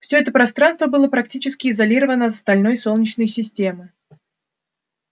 все это пространство было практически изолировано от остальной солнечной системы